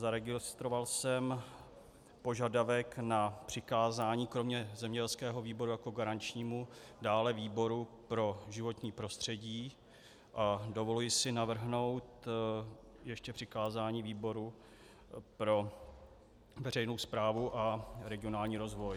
Zaregistroval jsem požadavek na přikázání kromě zemědělského výboru jako garančního dále výboru pro životní prostředí a dovoluji si navrhnout ještě přikázání výboru pro veřejnou správu a regionální rozvoj.